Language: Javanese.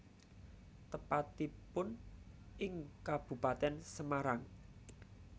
Tepatipun ing Kabupaten Semarang